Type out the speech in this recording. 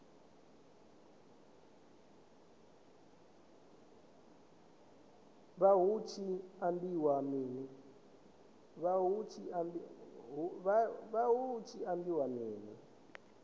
vha hu tshi ambiwa mini